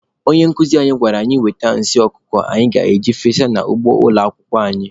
Onye nkuzi anyị gwara anyị wete nsị ọkụkọ anyị ga-efesa n'ugbo ụlọ akwụkwọ anyị.